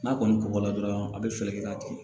N'a kɔni kɔgɔla dɔrɔn a bɛ fɛɛrɛ kɛ k'a tigɛ